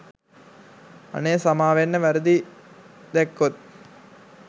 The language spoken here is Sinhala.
අනේ සමාවෙන්න වැරදි දැක්කොත්.